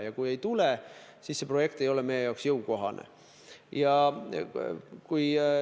Ja kui ei tule, siis see projekt ei ole meie jaoks jõukohane.